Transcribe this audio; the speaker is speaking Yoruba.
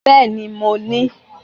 Bẹ́ẹ̀ni mo ti wi ibà